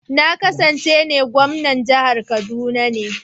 Na ƙasance ne gwamnan jihar kaduna ne.